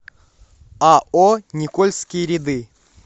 ао никольские ряды